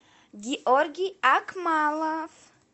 георгий акмалов